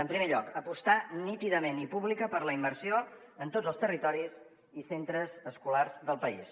en primer lloc apostar nítidament i pública per la immersió en tots els territoris i centres escolars del país